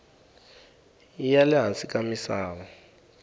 ya le hansi ka misava